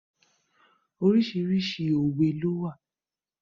Oríṣiríṣi òwe lowa.